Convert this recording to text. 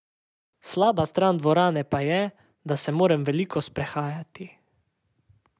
Slaba stran dvorane pa je, da se moram veliko sprehajati.